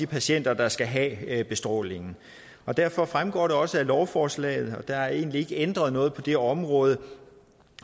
patienter der skal have bestrålingen og derfor fremgår det også af lovforslaget og der er egentlig ikke ændret noget på det område